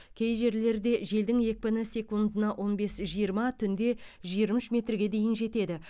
кей жерлерде желдің екпіні секундына он бес жиырма түнде жиырма үш метрге дейін жетеді